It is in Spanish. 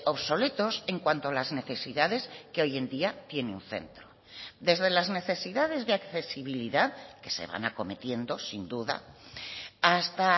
obsoletos en cuanto a las necesidades que hoy en día tiene un centro desde las necesidades de accesibilidad que se van acometiendo sin duda hasta